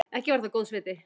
Ekki var það góðs viti.